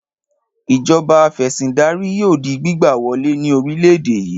Ìjọba afẹ̀sìndarí yóò di gbígbà wọlé ní orílẹ̀-èdè yìí.